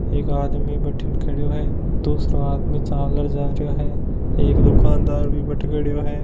एक आदमी बठीने खड़यो है दुसरो आदमी चाल र जा रहियो है एक दुकानदार भी बठे खड़यो है।